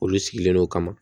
Olu sigilen no kama